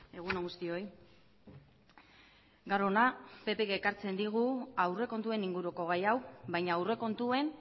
egun on guztioi gaur hona ppek ekartzen digu aurrekontuen inguruko gai hau baina aurrekontuen